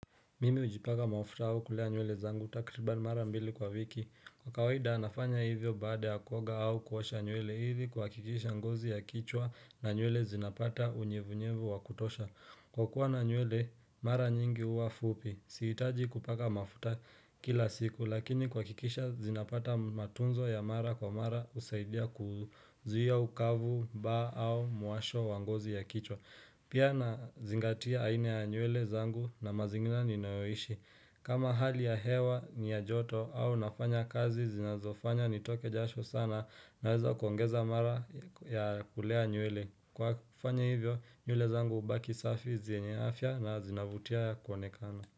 Mimi hujipaka mafuta au kulea nywele zangu takribani mara mbili kwa wiki. Kwa kawaida nafanya hivyo baada kuoga au kuosha nywele hivi kuhakikisha ngozi ya kichwa na nywele zinapata unyevunyevu wakutosha. Kwa kuwa na nywele, mara nyingi uwa fupi. Sihitaji kupaka mafuta kila siku lakini kuhakikisha zinapata matunzo ya mara kwa mara usaidia kuzuia ukavu, ba au muasho wa ngozi ya kichwa. Pia nazingatia aina ya nywele zangu na mazingira ninayoishi. Kama hali ya hewa ni ya joto au nafanya kazi zinazofanya nitoke jasho sana naweza kuongeza mara ya kulea nywele. Kwa kufanya hivyo nywele zangu hubaki safi zienye afya na zinavutia ya kuonekana.